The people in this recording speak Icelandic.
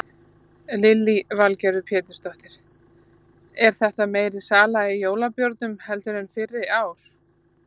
Lillý Valgerður Pétursdóttir: Er þetta meiri sala í jólabjórnum heldur en fyrri ár?